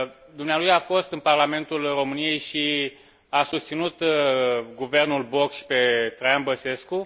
Dumnealui a fost în Parlamentul României și a susținut guvernul Boc și pe Traian Băsescu.